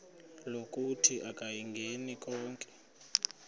lokuthi akayingeni konke